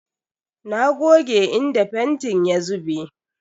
Na goge inda fentin ya zube.